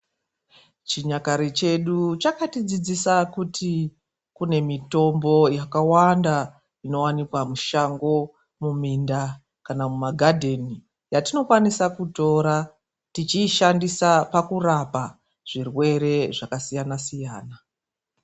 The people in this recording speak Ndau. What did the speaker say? Chinyakare chedu chakatidzidzisa kuti kune mitombo yakawanda inowanikwa mushango; muminda; kana mumagadheni, yatinokwanisa kutora tichiishandisa pakurapa zvirwere zvakasiyana siyana.